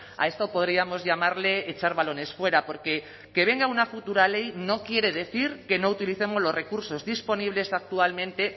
a esto podríamos llamarle echar balones fuera porque que venga una futura ley no quiere decir que no utilicemos los recursos disponibles actualmente